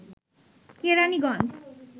Keraniganj